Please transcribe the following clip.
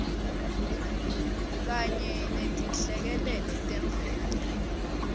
kanye netinhlekelele temvelo